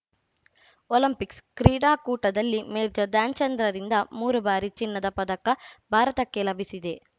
Olympics ಕ್ರೀಡಾಕೂಟದಲ್ಲಿ major ಧ್ಯಾನ್‌ಚಂದ್‌ರಿಂದ ಮೂರು ಬಾರಿ ಚಿನ್ನದ ಪದಕ ಭಾರತಕ್ಕೆ ಲಭಿಸಿದೆ